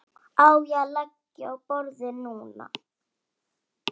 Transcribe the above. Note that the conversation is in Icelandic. Á ég að leggja á borðið núna?